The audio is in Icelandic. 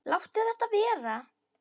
Láttu þetta vera!